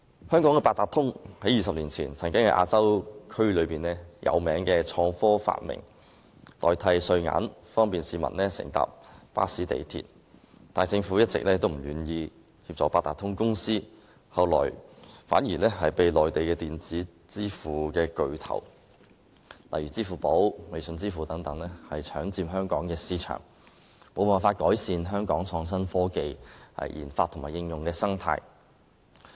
香港的八達通在20年前被視為亞洲著名的創科發明，不但可代替硬幣使用，而且方便市民乘搭巴士和港鐵等交通工具，但政府一直不願意協助八達通卡有限公司，以致後來反被內地稱為電子之父的巨頭，例如支付寶、微信支付等搶佔香港市場，令香港無法改善創新科技研發及應用的生態。